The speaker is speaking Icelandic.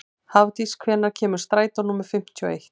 Hafdís, hvenær kemur strætó númer fimmtíu og eitt?